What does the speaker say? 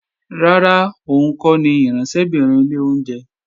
Rárá, òun kọ́ ni ìránṣẹ́bìnrin ilé oúnjẹ